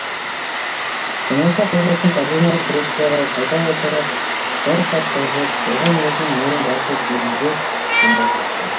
оңаша қалғасын кардинал креслоға қайта отырып бір хат жазып оған өзінің мөрін басып желімдеп қоңырау қақты